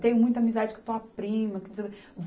Tenho muita amizade com tua prima, que não sei o quê.